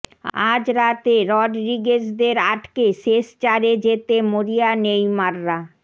আজ রাতে রডরিগেজদের আটকে শেষ চারে যেতে মরিয়া নেইমাররা